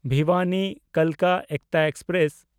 ᱵᱷᱤᱣᱟᱱᱤ–ᱠᱟᱞᱠᱟ ᱮᱠᱛᱟ express